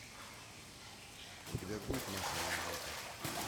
у тебя будет масляная лампа